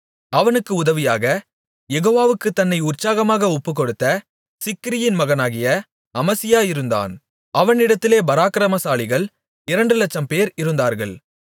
அவனுக்கு உதவியாக யெகோவாவுக்குத் தன்னை உற்சாகமாக ஒப்புக்கொடுத்த சிக்ரியின் மகனாகிய அமசியா இருந்தான் அவனிடத்திலே பராக்கிரமசாலிகள் இரண்டு லட்சம்பேர் இருந்தார்கள்